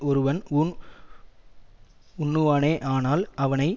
ஒருவன் ஊன் உண்ணுவானேயானால் அவனை